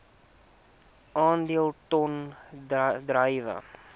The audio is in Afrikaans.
aandele ton druiwe